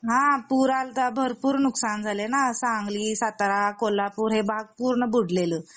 हा पूर आला होता भरपूर नुकसान झाला हे ना सांगली, सातारा, कोल्हापूर हे भाग पूरने बुडलेल